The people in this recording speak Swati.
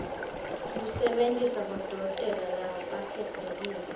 kusebentisa bodokotela labakhetsekile